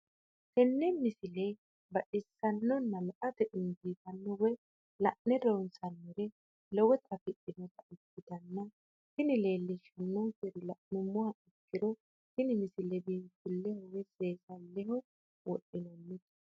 tenne misile baxisannonna la"ate injiitanno woy la'ne ronsannire lowote afidhinota ikkitanna tini leellishshannonkeri la'nummoha ikkiro tini misile biinfilleho woy seensilleho wodhinannite.